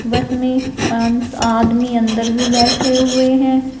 बस में आदमी अंदर भी बैठे हुए हैं।